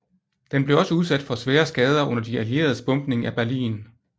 Den blev også udsat for svære skader under de allieredes bombning af Berlin